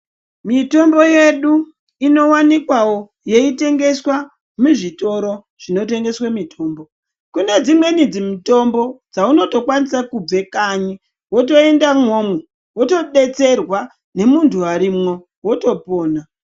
Mitombo yedu inowanikwawo yei tengeswa muzvitoro zvinotengeswa mitombo ,kune dzimwe mitombo dzaunokwanisa kubva kanyi wotoenda imwomwo wotobetserwa nemundu arimo wotopona.